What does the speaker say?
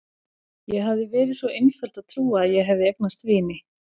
Ég hafði verið svo einföld að trúa að ég hefði eignast vini.